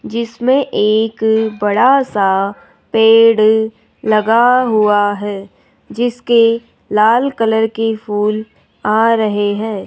जिसमें एक बड़ा सा पेड़ लगा हुआ है जिसके लाल कलर के फूल आ रहे हैं।